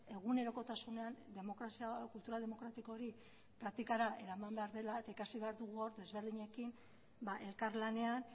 egunerokotasunean demokrazia kultura demokratiko hori praktikara eraman behar dela eta ikasi behar dugu hor desberdinekin elkarlanean